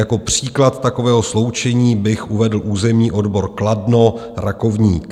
Jako příklad takového sloučení bych uvedl územní odbor Kladno - Rakovník.